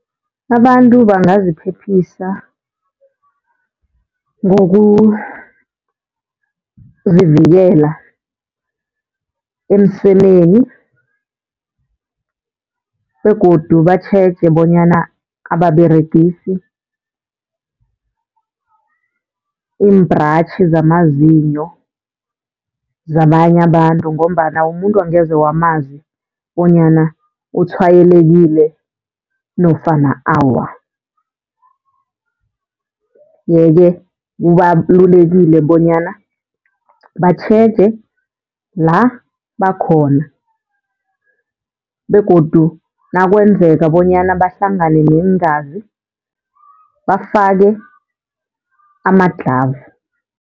Abantu bangaziphephisa ngokuzivikela emsemeni begodu batjheje bonyana ababeregisi imbhratjhi zamazinyo zabanye abantu, ngombana umuntu angeze wamazi bonyana utshwayelekile nofana awa. Yeke, kubalulekile bonyana batjheje la bakhona begodu nakwenzeka bonyana bahlangane neengazi bafake amadlhavu.